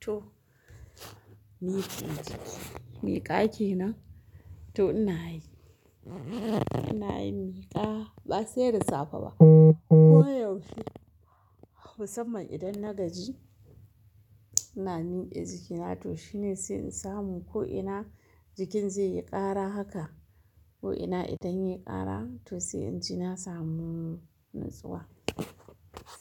To, miƙa kenan? To ina yi, ina yin miƙa ba sai da safe ba. Ko yaushe, musamman idan na gaji, ina miƙe jiki na to shine sai in samu ko ina, jikin zai yi ƙara haka. Ko ina idan ya yi ƙara to sai in je na samu natsuwa.